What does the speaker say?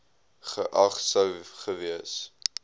geag sou gewees